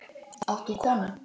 Átt þú konu?